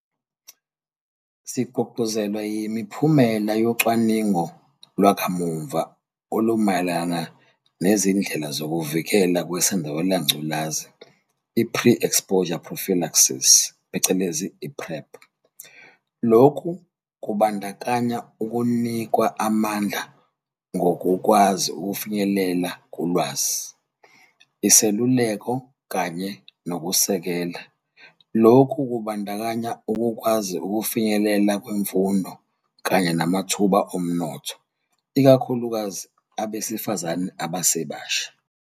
Sigqugquzelwa yimiphumela yocwaningo lwakamuva olumayelana nezindlela zokuvikelwa kweSandulela ngculazi ipre-exposure prophylaxis, i-PrEP. Lokhu kubandakanya ukunikwa amandla ngokukwazi ukufinyelela kulwazi, iseluleko kanye nokusekela. Lokhu kubandakanya ukukwazi ukufinyelela kwimfundo kanye namathuba omnotho, ikakhulukazi abesifazane abasebasha.